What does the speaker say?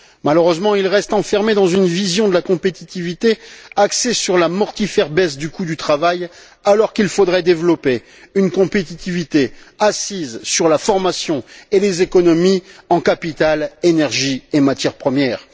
Malheureusement, il reste enfermé dans une vision de la compétitivité axée sur la mortifère baisse du coût du travail alors qu'il faudrait développer une compétitivité assise sur la formation et les économies en capital, énergie et matières premières.